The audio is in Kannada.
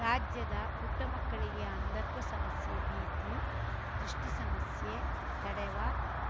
ರಾಜ್ಯದ ಪುಟ್ಟಮಕ್ಕಳಿಗೆ ಅಂಧತ್ವ ಸಮಸ್ಯೆ ಭೀತಿ ದೃಷ್ಟಿಸಮಸ್ಯೆ ತಡೆವ